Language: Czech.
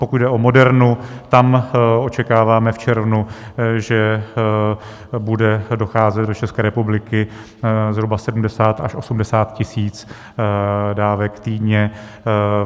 Pokud jde o Modernu, tam očekáváme v červnu, že bude docházet do České republiky zhruba 70 až 80 tisíc dávek týdně.